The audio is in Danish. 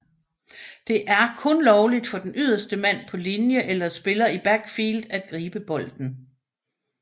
Det er dog kun lovligt for den ydderste mand på linje eller spiller i backfield at gribe bolden